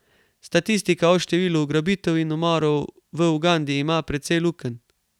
Statistika o številu ugrabitev in umorov v Ugandi ima precej lukenj.